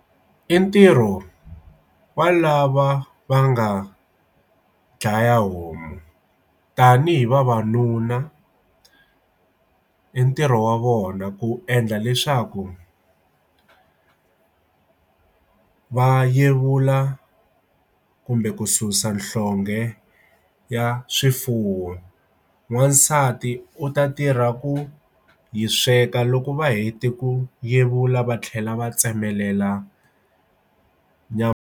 I ntirho wa lava va nga dlaya homu tanihi vavanuna i ntirho wa vona ku endla leswaku va yevula kumbe ku susa nhlonge ya swifuwo wasati u ta tirha ku yi sweka loko va heta ku yevula va tlhela va tsemelela nyama.